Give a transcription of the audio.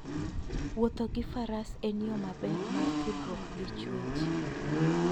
Wuotho gi Faras en yo maber mar tudruok gi chwech.